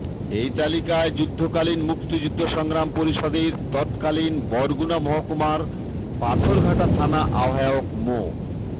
এই তালিকায় যুদ্ধকালীন মুক্তিযুদ্ধ সংগ্রাম পরিষদের তৎকালীন বরগুনা মহকুমার পাথরঘাটা থানা আহ্বায়ক মো